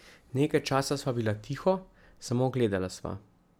Nekaj časa sva bila tiho, samo gledala sva.